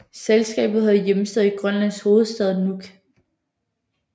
Selskabet havde hjemsted i Grønlands hovedstad Nuuk